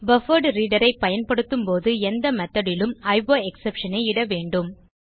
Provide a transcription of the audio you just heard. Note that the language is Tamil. பஃபர்ட்ரீடர் ஐ பயன்படுத்தும் எந்த மெத்தோட் லும் IOExceptionஐ இட வேண்டும்